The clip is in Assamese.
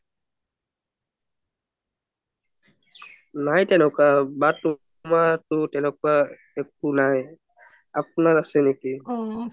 নাই তেনেকুৱা বা তোমাৰটো তেনেকুৱা একো নাই আপোনাৰ আছে নেকি